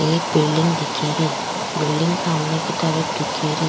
एक बिल्डिंग दिखेरी बिल्डिंग सामने की तरफ दिखेरी।